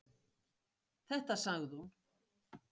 Þetta sagði hún.